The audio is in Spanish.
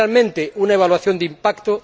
¿Existe realmente una evaluación de impacto?